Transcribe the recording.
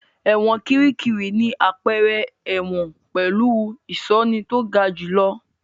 Ẹ̀wọ̀n Kìríkìrí ni àpẹẹrẹ ẹ̀wọ̀n pẹ̀lú ìṣọ́ni tó ga jù lọ.